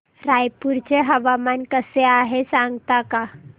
रायपूर चे हवामान कसे आहे सांगता का